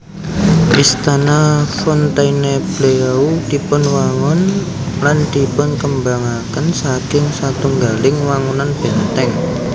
Istana Fontainebleau dipunwangun lan dipunkembangaken saking satunggaling wangunan bèntèng